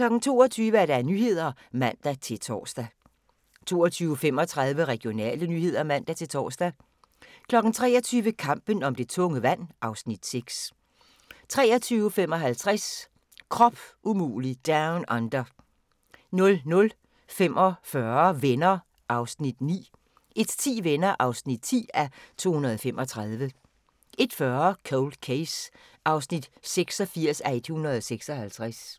22:00: Nyhederne (man-tor) 22:35: Regionale nyheder (man-tor) 23:00: Kampen om det tunge vand (Afs. 6) 23:55: Krop umulig Down Under 00:45: Venner (9:235) 01:10: Venner (10:235) 01:40: Cold Case (86:156)